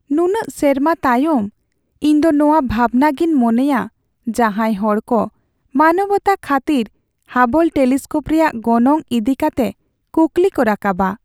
ᱱᱩᱱᱟᱹᱜ ᱥᱮᱨᱢᱟ ᱛᱟᱭᱚᱢ , ᱤᱧ ᱫᱚ ᱱᱚᱶᱟ ᱵᱷᱟᱵᱱᱟ ᱜᱤᱧ ᱢᱚᱱᱮᱭᱟ ᱡᱟᱦᱟᱸᱭ ᱦᱚᱲ ᱠᱚ ᱢᱟᱱᱚᱵᱚᱛᱟ ᱠᱷᱟᱹᱛᱤᱨ ᱦᱟᱵᱚᱞ ᱴᱮᱞᱤᱥᱠᱳᱯ ᱨᱮᱭᱟᱜ ᱜᱚᱱᱚᱝ ᱤᱫᱤ ᱠᱟᱛᱮ ᱠᱩᱠᱞᱤ ᱠᱚ ᱨᱟᱠᱟᱵᱟ ᱾